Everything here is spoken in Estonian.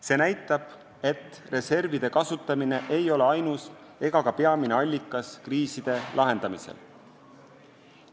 See näitab, et reservid ei ole ainus ega ka peamine allikas kriiside lahendamisel.